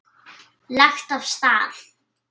Lagt af stað